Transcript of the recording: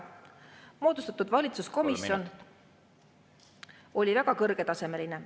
… moodustatud valitsuskomisjon oli väga kõrgetasemeline.